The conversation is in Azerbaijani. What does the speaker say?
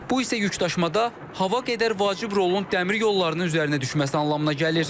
Bu isə yükdaşımada hava qədər vacib rolun dəmir yollarının üzərinə düşməsi anlamına gəlir.